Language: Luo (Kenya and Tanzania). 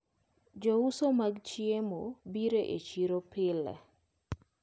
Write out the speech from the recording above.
Jouso mag chiemo biro e chiro pile.